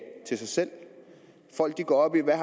til sig selv folk går op i hvad